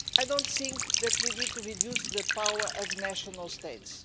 I don't think that we need to reduce the power of national states.